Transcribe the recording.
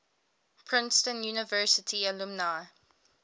princeton university alumni